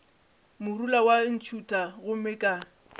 morula wa ntšhutha gomme ka